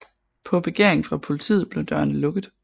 På begæring fra politiet blev dørene lukket